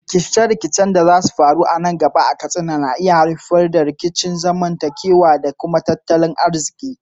Rikice-rikicen da za su faru nan gaba a Katsina na iya haifar da rikicin zamantakewa da tattalin arziki.